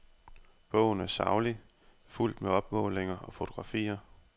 Bogen er saglig, fuldt med opmålinger og fotografier.